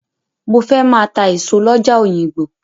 Mo fẹ́ máa ta èso lọ́jà Òyìngbò.